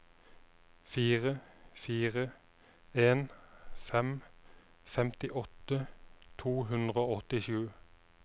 fire fire en fem femtiåtte to hundre og åttisju